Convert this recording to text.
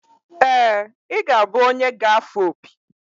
ee, ị ga-abụ onye ga-afụ opi